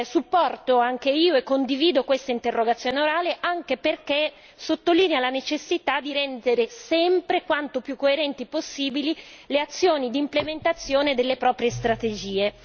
Supporto anche io e condivido questa interrogazione orale, anche perché sottolinea la necessità di rendere sempre quanto più coerenti possibile le azioni d'implementazione delle proprie strategie.